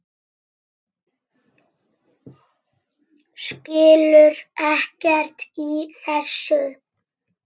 Skilur ekkert í þessu.